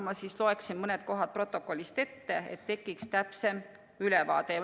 Ma loen mõned kohad protokollist ette, et tekiks täpsem ülevaade.